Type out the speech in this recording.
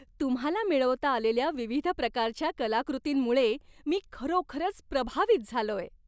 तुम्हाला मिळवता आलेल्या विविध प्रकारच्या कलाकृतींमुळे मी खरोखरच प्रभावित झालोय.